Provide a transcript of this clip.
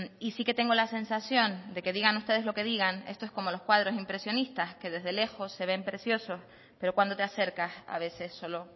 y sí que tengo la sensación de que digan ustedes lo que digan esto es como los cuadros impresionistas que desde lejos se ven preciosos pero cuando te acercas a veces solo